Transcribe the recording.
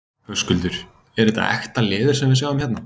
Höskuldur: Er þetta ekta leður sem við sjáum hérna?